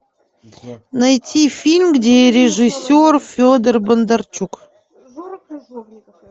найти фильм где режиссер федор бондарчук